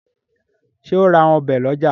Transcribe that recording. ṣe o ń rà Ọ̀bẹ ló ọjà?